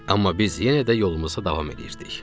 Amma biz yenə də yolumuza davam edirdik.